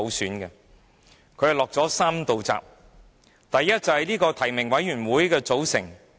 八三一決定落下了3道閘，第一，是關乎提名委員會的組成。